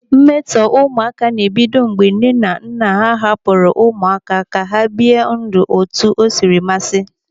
Mmetọ ụmụaka na-ebido mgbe nne na nna hapụrụ ụmụaka ka ha bie ndụ otu osiri mmasị.